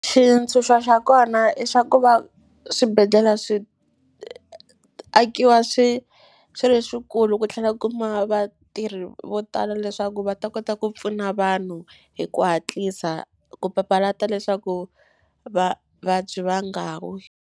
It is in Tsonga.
Xintshuxo xa kona i xa ku va swibedhlele swi akiwa swi swi ri swikulu ku tlhela kumiwa vatirhi vo tala leswaku va ta kota ku pfuna vanhu hi ku hatlisa ku papalata leswaku vavabyi va nga wi.